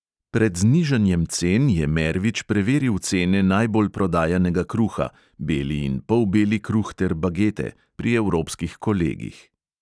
Pred znižanjem cen je mervič preveril cene najbolj prodajanega kruha (beli in polbeli kruh ter bagete) pri evropskih kolegih.